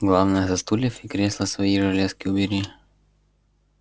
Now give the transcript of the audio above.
главное со стульев и кресла свои железки убери